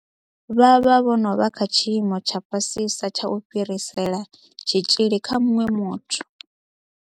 Vha vha vho no vha kha tshiimo tsha fhasisa tsha u fhirisela tshitzhili kha muṅwe muthu.